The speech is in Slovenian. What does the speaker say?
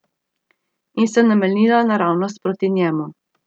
In se namenila naravnost proti njemu.